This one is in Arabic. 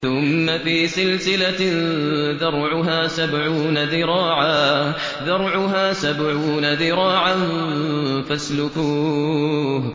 ثُمَّ فِي سِلْسِلَةٍ ذَرْعُهَا سَبْعُونَ ذِرَاعًا فَاسْلُكُوهُ